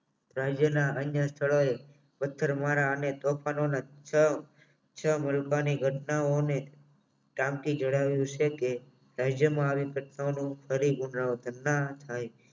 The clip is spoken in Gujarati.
રાજ્યના અન્ય સ્થળોએ પથ્થરમારા અને અન્ય તોફાનોના છ છ મુલકોની ઘટનાઓને કામથી ઘેરાયેલું છે કે રાજ્યમાં આવેલી ઘટનાઓનો પરિ પુનરાવર્તન ના થાય ફરી પુરના વર્તન ન થાય